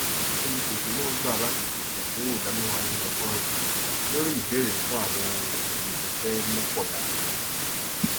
olùpèsè náà gbà láti pèsè ẹdínwó ìdá mẹwàá nínú ọgọrùún lórí ìbèèrè fún àwọn ohun èlò ibi iṣẹ lọpọ yanturu